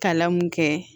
Kalan mun kɛ